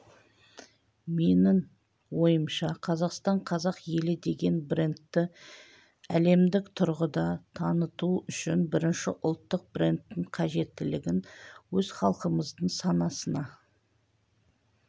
менің ойымша қазақстан қазақ елі деген брендті әлемдік тұрғыда таныту үшін бірінші ұлттық брендтің қажеттілігін өз халқымыздың санасына